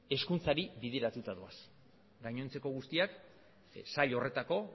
hezkuntzari bideratuta doaz gainontzeko guztiak sail horretako